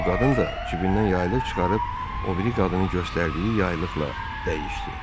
Bu qadın da cibindən yaylıq çıxarıb o biri qadının göstərdiyi yaylıqla dəyişdi.